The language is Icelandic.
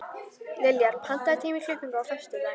Liljar, pantaðu tíma í klippingu á föstudaginn.